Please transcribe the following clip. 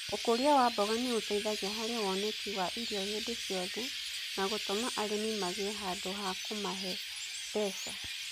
Ũkũria wa mboga nĩ ũteithagia harĩ woneki wa irio hĩndĩ ciothe na gũtũma arĩmi magĩe handũ ha kũmahe mbeca.